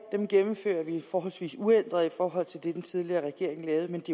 gennemfører vi forholdsvis uændret i forhold til det den tidligere regering lavede men det